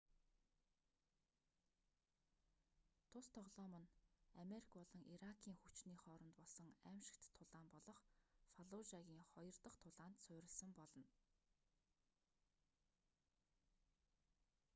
тус тоглоом нь америк болон иракийн хүчний хооронд болсон аймшигт тулаан болох фаллужагийн хоёр дах тулаанд суурьласан болно